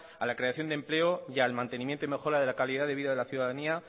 a la creación de empleo y al mantenimiento y mejora de la calidad de vida de la ciudadanía